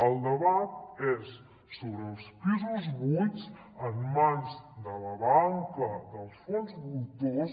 el debat és sobre els pisos buits en mans de la banca dels fons voltors